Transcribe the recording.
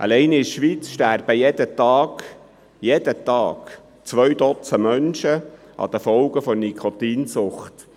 Alleine in der Schweiz sterben jeden Tag zwei Duzend Menschen an den Folgen der Nikotinsucht.